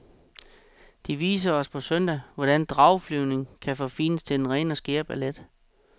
De viser os på søndag, hvordan drageflyvning kan forfines til den rene og skære ballet.